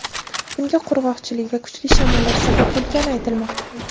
Bunga qurg‘oqchilik va kuchli shamollar sabab bo‘lgani aytilmoqda.